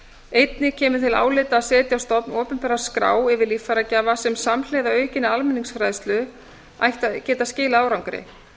einnig kemur til álita að setja á stofn opinbera skrá yfir líffæragjafa sem samhliða aukinni almenningsfræðslu ætti að geta skilað árangri